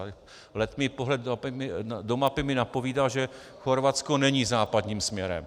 Ale letmý pohled do mapy mi napovídá, že Chorvatsko není západním směrem.